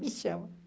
Me chama.